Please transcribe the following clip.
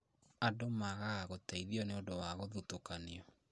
Andũ magaga gũteithio nĩũndũ wa guthutũkanio